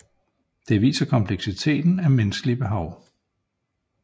Det viser kompleksiteten af menneskelige behov